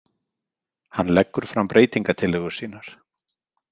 Hann leggur fram breytingatillögur sínar.